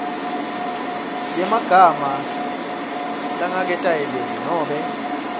yemagama langaketayeleki nobe